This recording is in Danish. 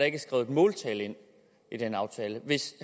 ikke skrevet et måltal ind i den aftale hvis